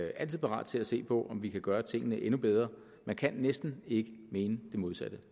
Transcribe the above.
altid parat til at se på om vi kan gøre tingene endnu bedre man kan næsten ikke mene det modsatte